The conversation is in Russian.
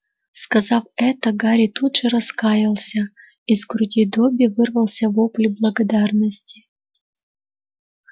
сказав это гарри тут же раскаялся из груди добби вырвался вопль благодарности